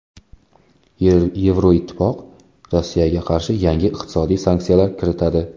Yevroittifoq Rossiyaga qarshi yangi iqtisodiy sanksiyalar kiritadi.